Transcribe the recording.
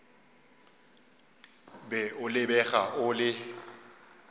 be o lebega o le